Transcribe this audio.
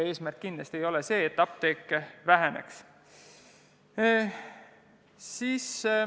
Kindlasti ei ole eesmärk apteeke vähendada.